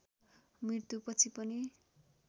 मृत्युपछि पनि